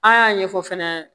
An y'a ɲɛfɔ fɛnɛ